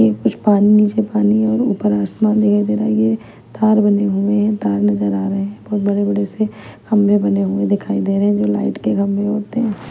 कुछ पानी नीचे पानी है और ऊपर आसमान दिखाई दे रहा है। ये तार बने हुए हैं तार नज़र आ रहे हैं बहुत बड़े-बड़े से खंभे बने हुए दिखाई दे रहे हैं जो लाइट के खंभे होते हैं।